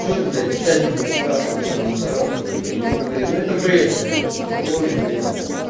что ты блять в чате будешь спрашивать про мусоров ебать да ну блять ну это бред короче это полный бред ебать